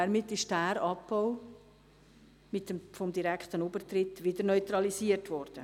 Damit ist dieser Abbau vom direkten Übertritt wieder neutralisiert worden.